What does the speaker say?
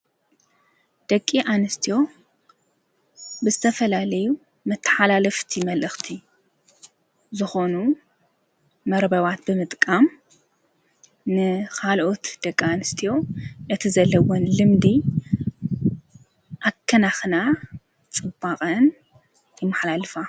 ደቂ ኣንስትዎ ብስተፈላለዩ መተሓላ ለፍቲ መልእኽቲ ዝኾኑ መረበዋት ብምጥቃም ንኻልኦት ደቂ ኣንስትዮ እቲዘለውን ልምዲ ኣከናኽና ጽባቐን ይመሓላ ልፋ።